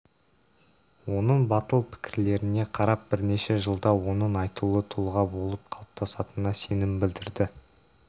оның батыл пікірлеріне қарап бірнеше жылда оның айтулы тұлға болып қалыптасатынына сенім білдірді